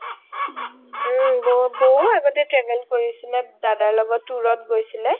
বৌও আগতে travel কৰিছিলে দাদাৰ লগত tour ত গৈছিলে